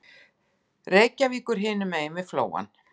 Reykjavíkur hinum megin við Flóann.